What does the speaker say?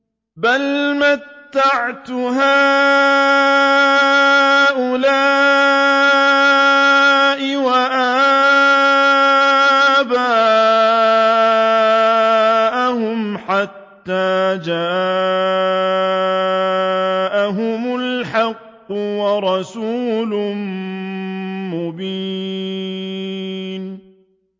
بَلْ مَتَّعْتُ هَٰؤُلَاءِ وَآبَاءَهُمْ حَتَّىٰ جَاءَهُمُ الْحَقُّ وَرَسُولٌ مُّبِينٌ